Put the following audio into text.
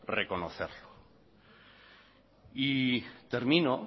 reconocerlo y termino